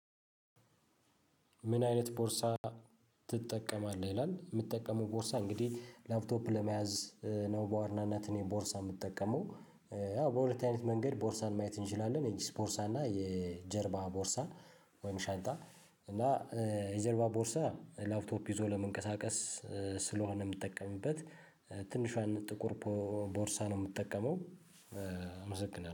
ምን አይነት ቦርሳ ትጠቀማለህ? ይላል የምትጠቀመው ቦርሳ እንግዲህ ላፕቶፕ ለመያዝ ነው በዋርናነት እኔ ቦርሳ የምጠቀመው ያው በሁለት አይነት መንገድ ቦርሳን ማየት እንችላለን የኪስ ቦርሳ እና የጀርባ ቦርሳ ወይም ሻንጣ እና የጀርባ ቦርሳ ላፕቶፕ ይዞ ለመንቀሳቀስ ስለሆነ የምጠቀምበት ትንሿን ጥቁር ቦርሳ ነው የምጠቀመው አመሰግናለሁ።